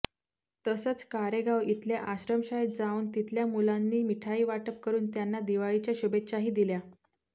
तसंच कारेगाव इथल्या आश्रमशाळेत जावून तिथल्या मुलांनी मिठाई वाटप करुन त्यांना दिवाळीच्या शुभेच्छाही दिल्या